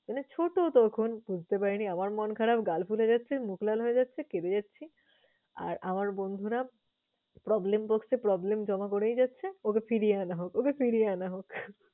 মানে ছোট তখন বুঝতে পারিনি। আমার মন খারাপ গাল ফুলে যাচ্ছে, মুখ লাল হয়ে যাচ্ছে, কেঁদে যাচ্ছি। আর আমার বন্ধুরা problem box এ problem জমা করে যাচ্ছে ওকে ফিরিয়ে আনা হোক, ওকে ফিরিয়ে আনা হোক।